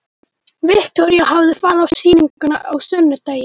Viktoría hafði farið á sýninguna á sunnudegi.